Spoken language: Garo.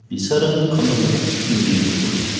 bi·sarang kamtangtangko gisik nange ka·tokenga.